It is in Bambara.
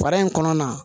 Fara in kɔnɔna